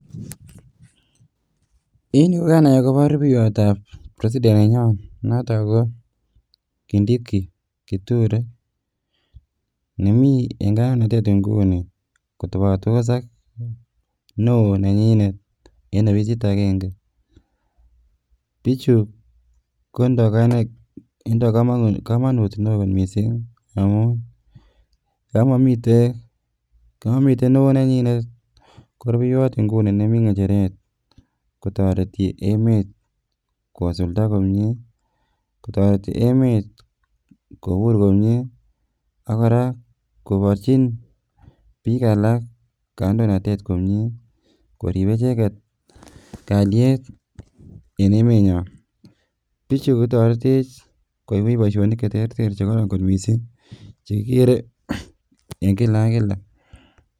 En yu kokanai akobo rubeywot ab president nenyon notok kindiki kithure nemi eng kandoinatet inguni kotobotos ak neo nenyinet eng ofisit agenge. Bichu kotindo komonut neo missing amun yon momiten neo nenyinet ko rubeiywot nemi ngecheret kotoreti emet kosulda komie, kobur komie ak kora koborchin biik alak kandoinatet komie. Koriib icheget kalyet eng emenyon. Bichu kotoretech koibwech boishonik cheterter chekororon kot missing chekikere eng kila ak kila